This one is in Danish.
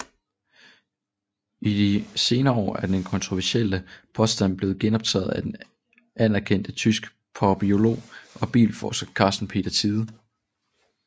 I de senere år er denne kontroversielle påstand blevet genoptaget af den anerkendte tyske papyrolog og bibelforsker Carsten Peter Thiede